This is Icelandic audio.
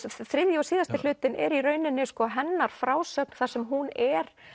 þriðji og síðasti hlutinn er í rauninni hennar frásögn þar sem hún er